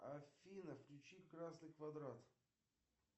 афина включи красный квадрат